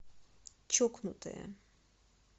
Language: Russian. чокнутая